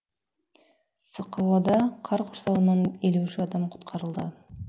сқо да қар құрсауынан елу үш адам құтқарылды